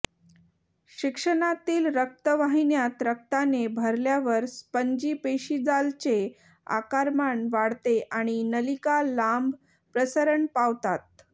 शिश्नातील रक्तवाहिन्या रक्ताने भरल्यावर स्पंजी पेशीजालचे आकारमान वाढते आणि नलिका लांब प्रसरण पावतात